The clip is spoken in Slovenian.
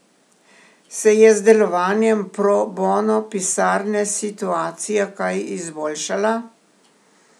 Se je z delovanjem pro bono pisarne situacija kaj izboljšala?